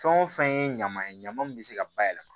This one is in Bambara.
Fɛn o fɛn ye ɲama ye ɲama min bɛ se ka bayɛlɛma